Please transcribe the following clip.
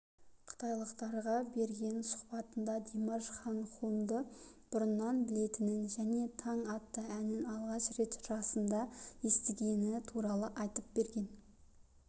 қытайлық тарға берген сұхбатында димаш хан хунды бұрыннан білетінін және таң атты әнін алғаш рет жасында естігені туралы айтып берген